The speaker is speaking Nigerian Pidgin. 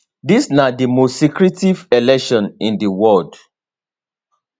dis na di most secretive election in di world